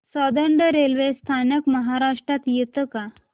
Soundad railway स्थानक महाराष्ट्रात येतं का